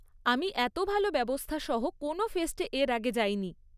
আমি এত ভালো ব্যবস্থাসহ কোনও ফেস্টে এর আগে যাইনি।